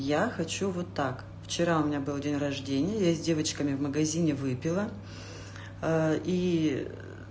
я хочу вот так вчера у меня был день рождения я с девочками в магазине выпила и